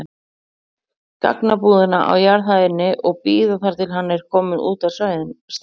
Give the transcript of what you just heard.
gagnabúðina á jarðhæðinni og bíða þar til hann er kominn út af stæðinu.